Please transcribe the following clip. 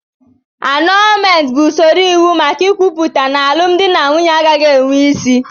Anọọlmentị bụ usoro iwu maka ikwuputa n'alụmdi na nwunye agaghị enwe isi.